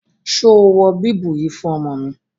Ṣo wọ bíbù yìí fún ọmọ mi?